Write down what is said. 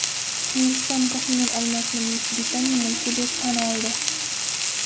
Hindiston Ko‘hinur olmosini Buyuk Britaniya mulki deb tan oldi.